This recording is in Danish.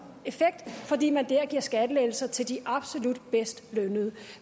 effekt fordi man der giver skattelettelser til de absolut bedst lønnede